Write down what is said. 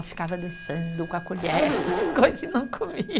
Eu ficava dançando com a colher, com as coisas e não